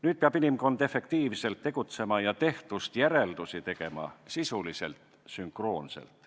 Nüüd peab inimkond efektiivselt tegutsema ja tehtust järeldusi tegema sisuliselt sünkroonselt.